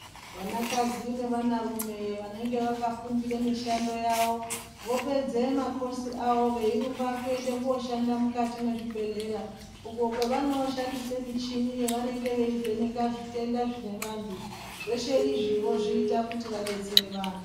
Vanakadzi nevana rume vanenge vakafundira mishando yavo vopedze makosi avo veirumba kuende koshanda mukati mwezvi bhehlera uko kwevano shandisa michini inovheneke kuona zvitenda zvinenge zvine vanthu, zveshe izvi vozviita kuti vadetsere vanthu.